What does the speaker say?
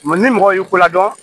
ni mɔgɔ y'u ko la dɔn